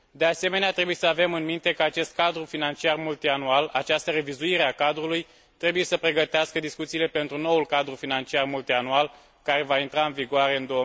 De asemenea, trebuie să avem în minte că acest cadru financiar multianual, această revizuire a cadrului, trebuie să pregătească discuțiile pentru noul cadru financiar multianual care va intra în vigoare în